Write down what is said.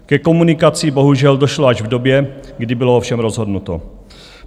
Ke komunikaci bohužel došlo až v době, kdy bylo o všem rozhodnuto.